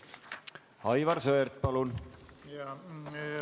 Aivar Sõerd, palun!